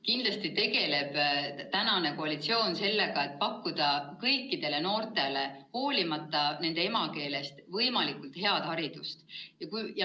Kindlasti tegeleb praegune koalitsioon sellega, et pakkuda kõikidele noortele, hoolimata nende emakeelest, võimalikult head haridust.